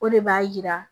O de b'a jira